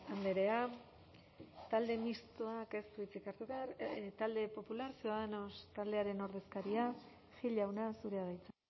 andrea talde mistoak ez du hitzik hartu behar talde popular ciudadanos taldearen ordezkaria gil jauna zurea da hitza